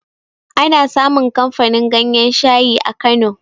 Ana samun kamfanin ganyan shayi a kano